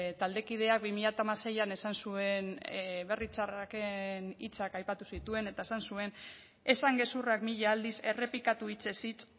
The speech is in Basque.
taldekideak bi mila hamaseian esan zuen berri txarraken hitzak aipatu zituen eta esan zuen esan gezurrak mila aldiz errepikatu hitzez hitz